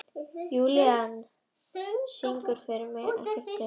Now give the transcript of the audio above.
Júlían, syngdu fyrir mig „Ekkert breytir því“.